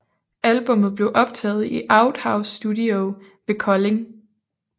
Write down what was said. Albummet blev optaget i Outhouse Studio ved Kolding